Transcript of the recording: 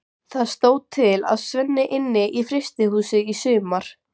Það stóð til að Svenni ynni í frystihúsi í sumar.